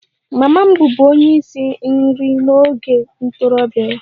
Mama m bụbu onye isi nri n'oge ntorobịa ya